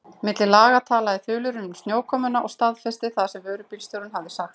Milli laga talaði þulurinn um snjókomuna og staðfesti það sem vörubílstjórinn hafði sagt.